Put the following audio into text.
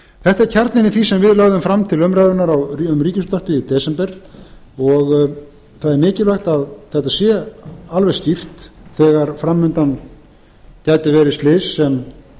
þetta er kjarninn í því sem við lögðum fram til umræðunnar um ríkisútvarpið í desember það er mikilvægt að þetta sé alveg skýrt þegar framundan gætu verið slys sem